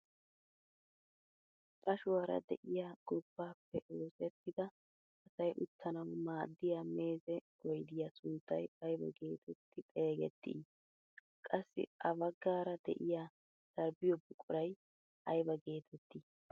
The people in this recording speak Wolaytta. Qashuwaara de'iyaa gobbaappe oosettida asay uttanawu maaddiyaa meeze oydiyaa sunttay aybaa getetti xeegettii? qassi ha baggaara de'iyaa sarbbiyoo buquray ayba getettii?